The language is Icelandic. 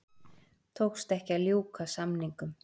Tókst ekki að ljúka samningum